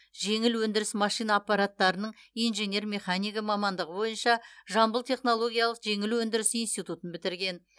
жеңіл өндіріс машина аппараттарының инженер механигі мамандығы бойынша жамбыл технологиялық жеңіл өндіріс институтын бітірген